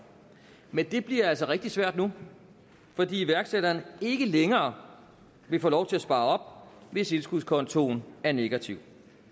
men det bliver altså rigtig svært nu fordi iværksætteren ikke længere vil få lov til at spare op hvis indskudskontoen er negativ